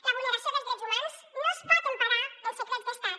la vulneració dels drets humans no es pot emparar en secrets d’estat